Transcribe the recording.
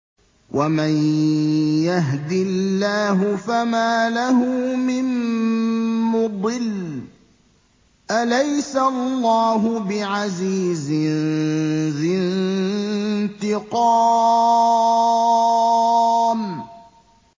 وَمَن يَهْدِ اللَّهُ فَمَا لَهُ مِن مُّضِلٍّ ۗ أَلَيْسَ اللَّهُ بِعَزِيزٍ ذِي انتِقَامٍ